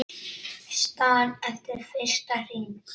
Staðan eftir fyrsta hring